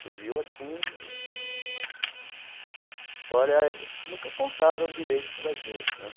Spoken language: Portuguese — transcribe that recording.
Fugiu assim... Essa história eles nunca contaram direito para a gente, né?